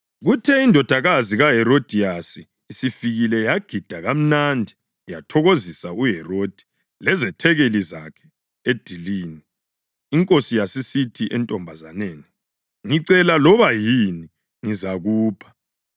Kuthe indodakazi kaHerodiyasi isifikile yagida kamnandi yathokozisa uHerodi lezethekeli zakhe edilini. Inkosi yasisithi entombazaneni, “Ngicela loba yini, ngizakupha.”